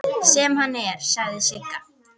Sem hann er, segir Sigga.